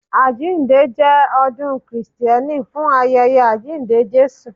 Àjíǹde jẹ ọdún Krìsténì fún ayẹyẹ àjíǹde Jésù.